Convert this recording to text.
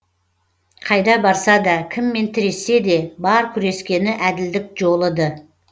қайда барса да кіммен тірессе де бар күрескені әділдік жолы ды